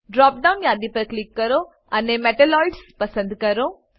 drop down યાદી પર click કરો અને મેટલોઇડ્સ પસંદ કરો